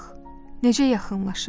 Bax, necə yaxınlaşır.